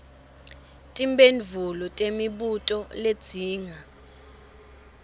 timphendvulo temibuto ledzinga